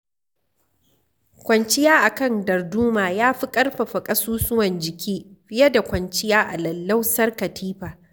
Kwanciya a kan darduma ya fi ƙarfafa kasusuwan jiki fiye da kwanciyar a lallausar Kalifa.